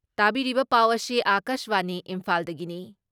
ꯇꯥꯕꯤꯔꯤꯕ ꯄꯥꯎ ꯑꯁꯤ ꯑꯀꯥꯥꯁꯕꯥꯅꯤ ꯏꯝꯐꯥꯜꯗꯒꯤꯅꯤ